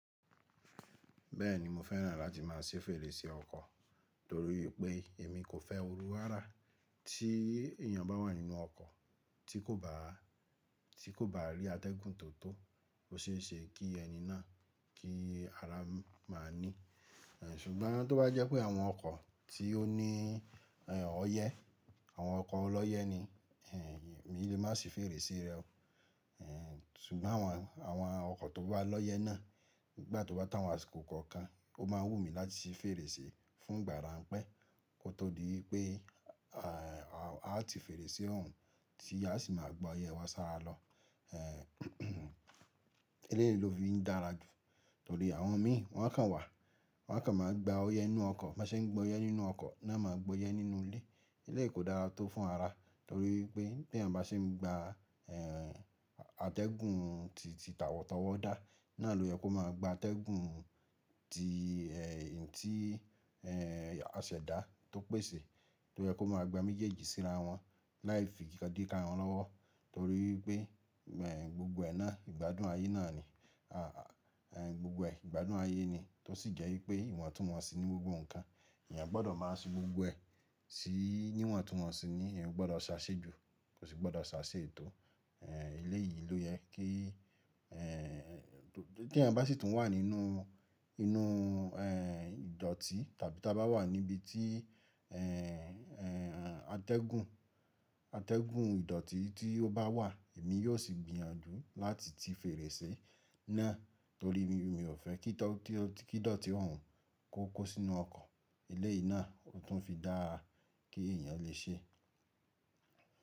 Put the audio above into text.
Bẹ́ẹ̀ni, mo fẹ́ràn láti má a ṣi fèrèsé ọkọ̀ torí pé èmi kò fẹ́ oru rara, tí èèyàn bá wà nínú ọkọ̀ tí kò bá rí atẹ́gùn tó tó, ó ṣe é ṣe kí ẹni náà kí ara máa níi. Ṣùgbọ́n tó bá jẹ́ pé àwọn ọkọ̀ tí ó ní ọyẹ́, àwọn ọkọ̀ ọlọ́yẹ́ ni, èmi lè má sì fèrèsé rẹ o. Ṣùgbọ́n àwọn ọkọ̀ tó bá lọ́yẹ́ náà nígbà tó bá to awán asíko kòkàn, ó máa wù mí láti ṣi fèrèsé fún ìgbà ráńpẹ́ kó tó di wípé a ti fèrèsé òhun tí a sì máa gba ọyẹ́ wá sára lọ. Eléyìí ló fi ń dára jù torí àwọn mi wọ́n kàn wà, wọ́n kàn máa gba ọyẹ́ nínú ọkọ̀, má ṣe ń gba ọyẹ́ nínú ọkọ̀ náà máa gba ọyẹ́ nínú ilé. Eléyìí kò dára tó fún ara torí pé bí èèyàn bá ṣe ń gba atẹ́gùn tí tà tọ̀wọ̀ dá, náà ló yẹ kó máa gba atẹ́gùn tí àṣẹ̀dá tó pèsè tó yẹ kó máa gba méjèèjì síra wọn láì fi ikan di kan wọn lọ́wọ́ torí pé gbogbo ẹ náà ìgbádùn ayé náà ni. Gbogbo ẹ ìgbádùn ayé ni tó sì jẹ́ wípé ìwọ̀n túnwọnsì ní gbogbo nǹkan. Ẹ̀yàn gbọ́dọ̀ máa se gbogbo ẹ sí ìwọ̀n túnwọnsì ni, eeyan o gbọ́dọ̀ sáṣé ju, kò sì gbọ́dọ̀ sáṣé ètò. Eléyìí ló yẹ kí eeyan bá sì tún wà nínú ìdọ̀tí tàbí tí a bá wà níbi tí atẹ́gùn ìdọ̀tí tí ó bá wà, èmi yóò sì gbìyànjú láti ti fèrèsé náà torí mi ò fẹ́ kí ìdọ̀tí òhun kó kó sínu ọkọ̀. Eléyìí náà ló tún fi dára kí èèyàn lè ṣe.